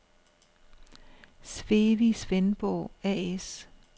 Swewi Svendborg A/S